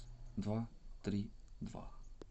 два три два